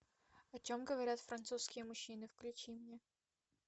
о чем говорят французские мужчины включи мне